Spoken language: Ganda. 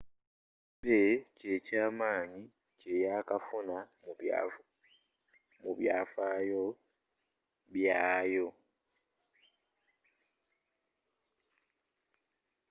ebay kyekyamanyi kyeyakafuna mu byafaayo byaayo